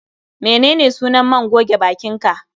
Menene sunan man goge bakin ka?